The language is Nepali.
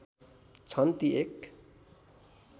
छन् ती एक